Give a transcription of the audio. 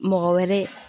Mɔgɔ wɛrɛ